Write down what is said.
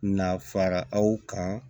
Na fara aw kan